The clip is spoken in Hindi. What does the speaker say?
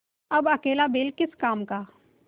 अब अकेला बैल किस काम का